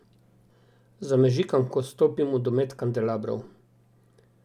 Zamežikam, ko stopim v domet kandelabrov.